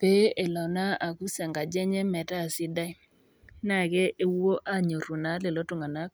pee elo naa akus enkaji enye metaa sidai naa kepuo anyor naa lelo tunganak